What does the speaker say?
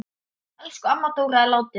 Elsku amma Dóra er látin.